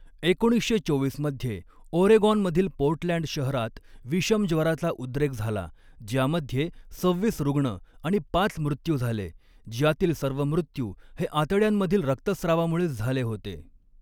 एकोणीसशे चोवीस मध्ये ओरेगॉनमधील पोर्टलँड, शहरात विषमज्वराचा उद्रेक झाला, ज्यामध्ये सव्हीस रुग्ण आणि पाच मृत्यू झाले, ज्यातील सर्व मृत्यू हे आतड्यांमधील रक्तस्रावामुळे झाले होते.